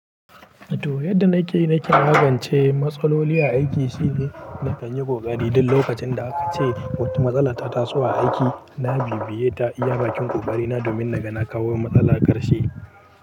To, yadda na ke, na ke magance matsaloli a aiki shine na kan yi ƙoƙari duk lokacin da aka ce wata matsala ta taso a aiki. Na bibiye ta iya bakin ƙoƙari na domin na ga kawo matsala ƙarshe.